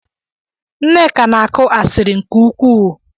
Nneka na-aku asiri nke ukwuu.